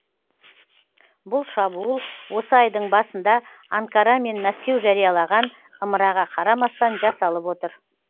бұл шабуыл осы айдың басында анкара мен мәскеу жариялаған ымыраға қарамастан жасалып отыр